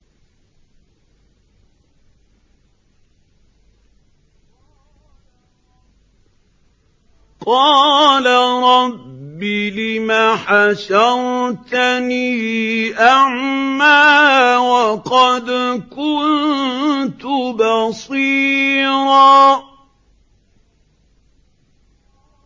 قَالَ رَبِّ لِمَ حَشَرْتَنِي أَعْمَىٰ وَقَدْ كُنتُ بَصِيرًا